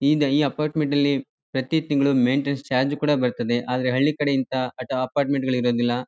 ಈ ಈ ಅಪ್ಪಾರ್ಟ್ಮೆಂಟ್ ಅಲ್ಲಿ ಪ್ರತಿ ತಿಂಗಳು ಮೇಂಟೈನ್ಸ್ ಚಾರ್ಜ್ ಕೂಡ ಬರ್ತದೆ ಆದ್ರೆ ಹಳ್ಳಿ ಕಡೆ ಇಂತ ಅಪ್ಪಾರ್ಟ್ಮೆಂಟ್ ಗಳು